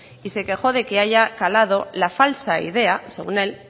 y se quejó de que haya calado la falsa idea según él